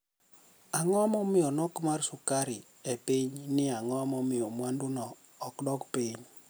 Anigo momiyo nok mar sukari epiniy niiye anigo momiyo mwanidu no odokpiniy